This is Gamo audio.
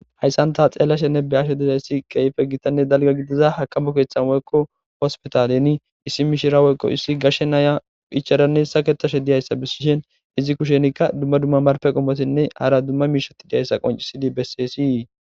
Hayssan ta xeelashenne be'ashe dizayssi keehi gitanne dalgga gidiza haaqama keeththakko hospitaaleni issi mishira woykko issi gashe naya ichchadanne saketashe diyayssa bessishin izi kushenikka dumma dumma marpe qommotinne hara dumma miishati diyayssa qonccissidi bessesi.